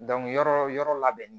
yɔrɔ yɔrɔ labɛnnen